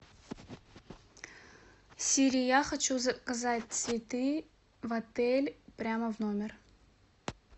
сири я хочу заказать цветы в отель прямо в номер